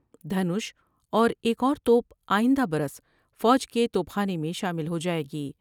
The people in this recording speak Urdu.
دھنوش اور ایک اور توپ آئندہ برس فوج کے توپ خانے میں شامل ہوجاۓ گی۔